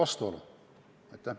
Aitäh!